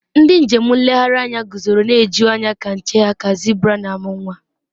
ndị njem nlegharị anya guzoro na-eju anya ka nche ha ka zebra na-amụ nwa